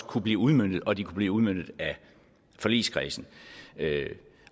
kunne blive udmøntet og at de kunne blive udmøntet af forligskredsen